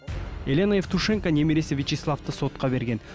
елена евтушенко немересі вячеславты сотқа берген